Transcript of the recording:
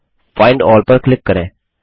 अब find all पर click करें